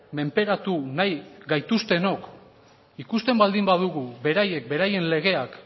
menperatu nahi gaituztenok ikusten baldin badugu beraiek beraien legeak